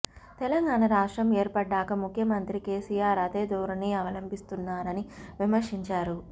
తెలంగాణ రాష్ట్రం ఏర్పడ్డాక ముఖ్యమంత్రి కేసీఆర్ అదే ధోరణి అవలంబిస్తున్నారని విమర్శించారు